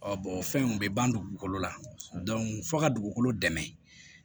Ɔ o fɛn in bɛ ban dugukolo la fo ka dugukolo dɛmɛ